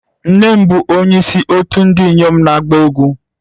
Nne m bụ onyeisi òtù ndị inyom na-agba egwú